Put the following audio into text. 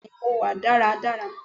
Bẹ́ẹ̀ni mo wà dára dára